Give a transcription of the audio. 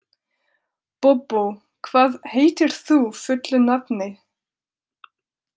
Bóbó, hvað heitir þú fullu nafni?